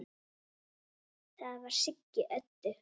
Það var Siggi Öddu.